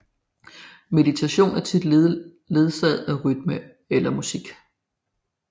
Meditationen er tit ledsaget af rytme eller musik